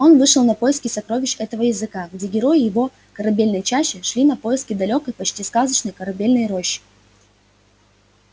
он вышел на поиски сокровищ этого языка где герои его корабельной чащи шли на поиски далёкой почти сказочной корабельной рощи